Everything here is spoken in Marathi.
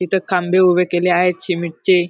इथ खांबे उभे केले आहेत सीमेंट चे.